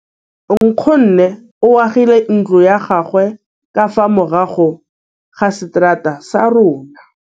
Nkgonne o agile ntlo ya gagwe ka fa morago ga seterata sa rona.